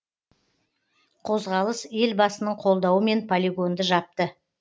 қозғалыс елбасының қолдауымен полигонды жапты